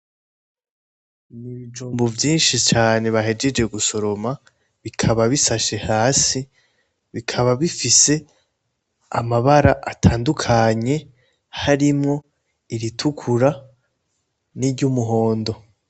Ibijumbu vyishi cane bahejeje gusoroma bikaba bisashe hasi bikaba bifise amabara atandukanye harimwo iritukura n'iryumuhondo